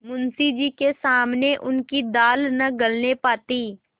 मुंशी जी के सामने उनकी दाल न गलने पाती